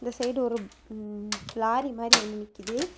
இந்த சைடு ஒரு லாரி மாறி ஒன்னு நிக்குது.